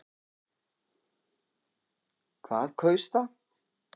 Hvað kaus það?